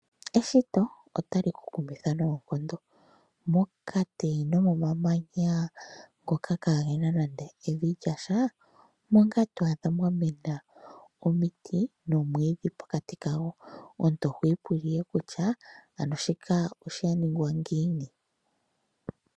Eshito otali ku kumitha noonkondo. Mokati nomomamanya ngoka kaagena nande evi lyasha omo ngaa to adha mwa mena omiti nomwiidhi pokati kago. Omuntu oho ipula ihe kutya ano shika osha ningwa ngiini.